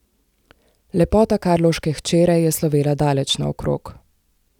Lepota karlovške hčere je slovela daleč naokrog.